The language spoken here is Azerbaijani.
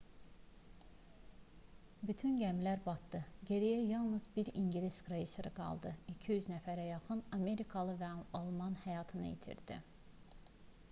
bütün gəmilər batdı geriyə yalnız bir i̇ngilis kreyseri qaldı. 200 nəfərə yaxın amerikalı və alman həyatını itirdi